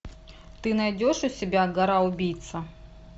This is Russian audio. ты найдешь у себя гора убийца